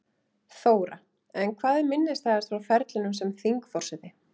Þóra: En hvað er minnisstæðast frá ferlinum sem þingforseti?